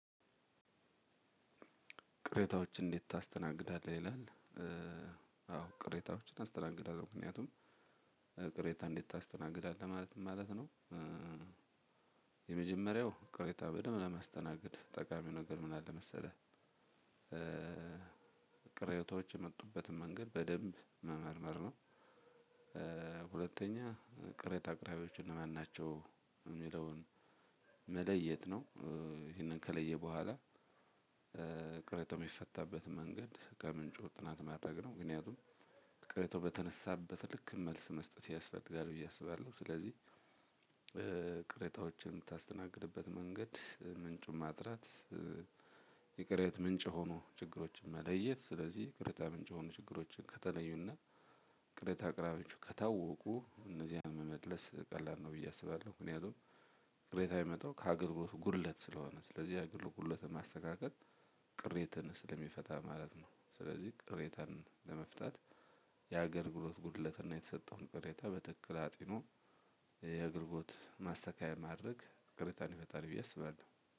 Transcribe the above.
ቅሬታዎችን እንዴት ታስተናግዳለህ ይላል? አዎ ቅሬታዎችን አስተናግዳለሁ ምክንያቱም ቅሬታ እንዴት ታስተናግዳለህ ማለት ምን ማለት ነው? የመጀመሪያው ቅሬታ በደንብ ለማስተናገድ ጠቃሚው ነገር ምን አለ መሰለህ? ቅሬታዎች የመጡበትን መንገድ በደንብ መመርመር ነው። ሁለተኛ ቅሬታ አቅራቢዎቹ እነማን ናቸው የሚለውን መለየት ነው። ይሄንን ከለየ በኋላ ቅርታው የሚፈታበትን መንገድ ከምንጩ ጥናት ማድረግ ነው። ምክንያቱም ቅርቶ በተነሳበት ልክ መልስ መስጠት ያስፈልጋል ብዬ አስባለሁ። ስለዚህ ቅሬታወችን ምታስተናግድበት መንገድ ምንጩን ማጥራት። የቅሬታ ምንጭ ሆኖ ችግሮችን መለየት ስለዚህ ቅሬታ ምንጭ የሆኑ ችግሮችን ከተለዩና ቅሬታ አቅራቢዎቹ ከታወቁ እነዚያን መመለስ ቀላል ነው ብዬ አስባለሁ። ምክንያቱም ቅሬታ የመጣው ከሀገር ጉድለት ስለሆነ ስለዚህ የሀገር ጉድለት ማስተካከል ቅሬታን ስለሚፈታ ማለት ነው። ስለዚህ ቅሬታን ለመፍታት የአገልግሎት ጉድለት እና የተሰጠውን ቅሬታ በትክክል አጢኖ። የአገልግሎት ማስተካከያ ማድረግ ቅሬታን ይፈታል ብዬ አስባለሁ